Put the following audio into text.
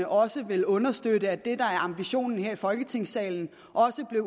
også ville understøtte at det der er ambitionen her i folketingssalen også bliver